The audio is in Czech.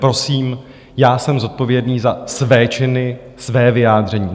Prosím, já jsem zodpovědný za své činy, svá vyjádření.